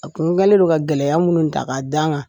A kun kɛlen don ka gɛlɛya minnu ta k'a da n kan